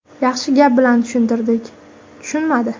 Yaxshi gap bilan tushuntirdik, tushunmadi.